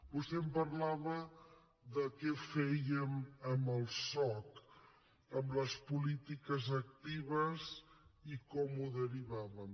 vostè em parlava de què fèiem amb el soc amb les polítiques actives i com ho derivàvem